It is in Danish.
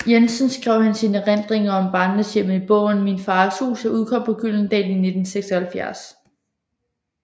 Jensen skrev han sine erindringer om barndomshjemmet i bogen Min fars hus der udkom på Gyldendal i 1976